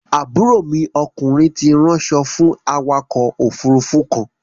Àbúrò mi okùnrin ti ránṣọ fú awakọ̀ òfurufú kan.